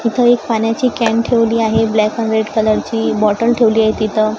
इथं एक पाण्याची कॅन ठेवली आहे ब्लॅक एंड रेड कलरची बॉटल ठेवली आहे तिथं.